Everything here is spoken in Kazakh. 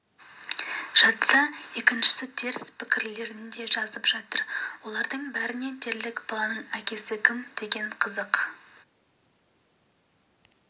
жатса екіншісі теріс пікірлерін де жазып жатыр олардың бәріне дерлік баланың әкесі кім екені қызық